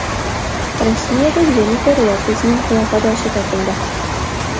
Rossiyada Jennifer Lopesning qiyofadoshi topildi .